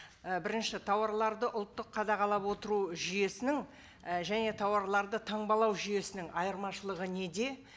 і бірінші тауарларды ұлттық қадағалап отыру жүйесінің і және тауарларды таңбалау жүйесінің айырмашылығы неде